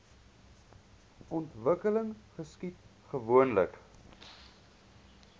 ontwikkeling geskied gewoonlik